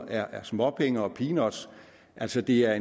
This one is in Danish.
er småpenge og peanuts altså det er